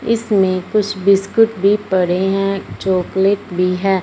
इसमें कुछ बिस्कुट भी पड़े हैं चॉकलेट भी है।